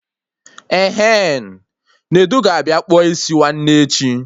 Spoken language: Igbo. Ehen, Nedu ga-abịa kpụọ isi nwanne echi